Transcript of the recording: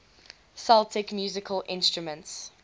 celtic musical instruments